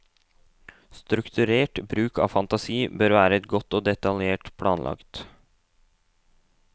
Strukturert bruk av fantasi bør være godt og detaljert planlagt.